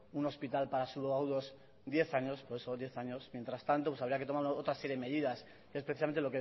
un hospital para subagudos diez años por eso diez años mientras tanto pues había que tomar otra serie de medidas especialmente